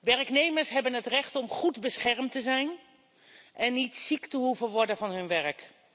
Werknemers hebben het recht om goed beschermd te zijn en niet ziek te hoeven worden van hun werk.